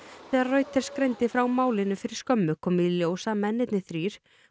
þegar Reuters greindi frá málinu fyrir skömmu kom í ljós að mennirnir þrír